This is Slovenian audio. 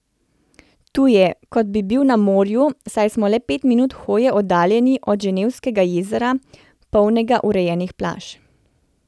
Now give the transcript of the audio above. Tu je, kot bi bili na morju, saj smo le pet minut hoje oddaljeni od Ženevskega jezera, polnega urejenih plaž.